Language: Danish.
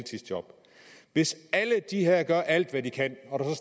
hvis alle de her nævnte gør alt hvad de kan og der